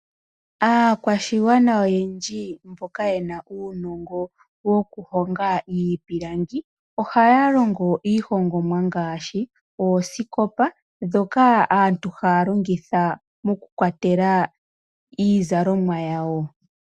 Aakwashigwana oyendji mboka ye na uunongo woku honga iipilangi, ohaya longo iihongomwa ngaashi oosikopa ndhoka aantu haya longitha moku kwatela iizalomwa yawo.